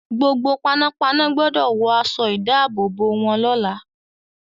Gbogbo panápaná gbọdọ̀ wọ aṣọ-ìdáàbòbò wọn lọ́la.